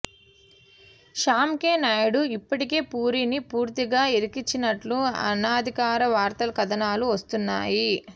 Shyam K Naidu ఇప్పటికే పూరీని పూర్తిగా ఇరికించినట్లు అనధికార వార్తాకథనాలు వస్తున్నాయి